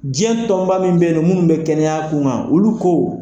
Diɲɛ tɔnba min bɛ mun bɛ kɛnɛya kun kan olu ko.